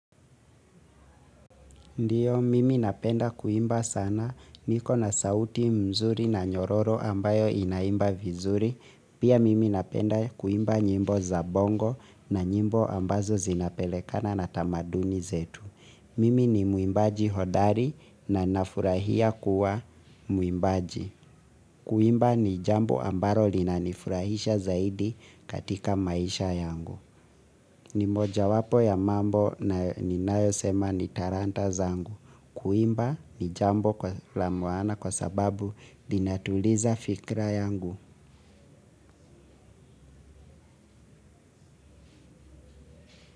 Ndiyo, mimi napenda kuimba sana. Iko na sauti mzuri na nyororo ambayo inaimba vizuri. Pia mimi napenda kuimba nyimbo za bongo na nyimbo ambazo zinapelekana na tamaduni zetu. Mimi ni muimbaji hodari na nafurahia kuwa muimbaji. Kuimba ni jambo ambalo linanifurahisha zaidi katika maisha yangu. Ni moja wapo ya mambo na ni nayo sema ni talanta zangu. Kuimba ni jambo kwa la maana kwa sababu linatuliza fikra yangu.